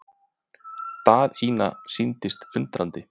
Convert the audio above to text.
Daðína sýndist undrandi.